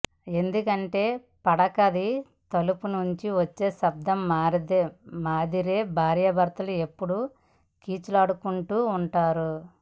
ఎందుకంటే పడకది తలుపు నుంచి వచ్చే శబ్దం మాదిరే భార్యభర్తలు ఎప్పుడూ కీచులాడుకుంటూ ఉంటారు